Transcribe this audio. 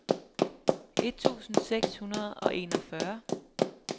et tusind seks hundrede og enogfyrre